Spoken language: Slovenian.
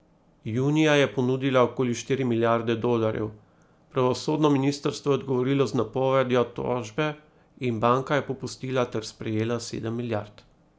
Junija je ponudila okoli štiri milijarde dolarjev, pravosodno ministrstvo je odgovorilo z napovedjo tožbe in banka je popustila ter sprejela sedem milijard.